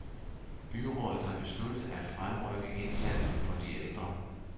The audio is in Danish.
Byrådet har besluttet at fremrykke indsatsen for de ældre.